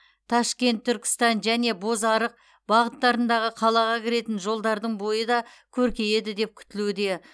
ташкент түркістан және бозарық бағыттарындағы қалаға кіретін жолдардың бойы да көркейеді деп күтілуде